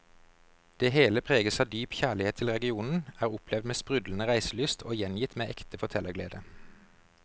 Det hele preges av dyp kjærlighet til regionen, er opplevd med sprudlende reiselyst og gjengitt med ekte fortellerglede.